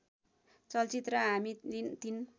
चलचित्र हामी तिन